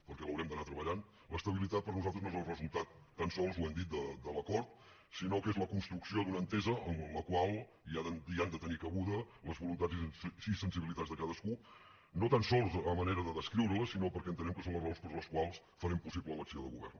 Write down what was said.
perquè l’haurem d’anar treballant l’estabilitat per nosaltres no és el resultat tan sols ho hem dit de l’acord sinó que és la construcció d’una entesa amb la qual hi han de tenir cabuda les voluntats i sensibilitats de cadascú no tan sols a manera de descriure les sinó perquè entenem que són les raons per les quals farem possible l’acció de govern